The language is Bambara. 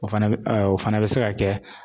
O fana bɛ o fana bi se ka kɛ